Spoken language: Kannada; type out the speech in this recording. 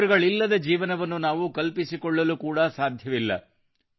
ಇವರುಗಳಿಲ್ಲದ ಜೀವನವನ್ನು ನಾವು ಕಲ್ಪಿಸಿಕೊಳ್ಳಲು ಕೂಡಾ ಸಾಧ್ಯವಿಲ್ಲ